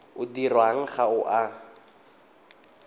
o dirwang ga o a